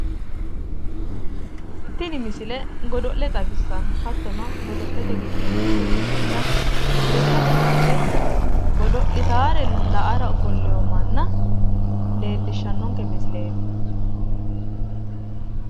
Tini misile godo'le xawissanno, hattono godo'lete giddoy mitte ikkiteewota lekkate kaase godo'litare la'ara ofollewo manna leellishshannonke misileeti.